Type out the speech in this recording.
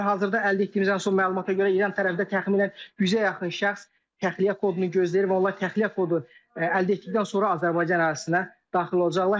Hazırda əldə etdiyimiz ən son məlumata görə İran tərəfdə təxminən 100-ə yaxın şəxs təxliyə kodunu gözləyir və onlar təxliyə kodu əldə etdikdən sonra Azərbaycan ərazisinə daxil olacaqlar.